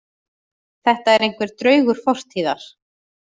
Þetta er einhver draugur fortíðar